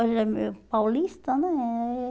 Ele é meio paulista, né?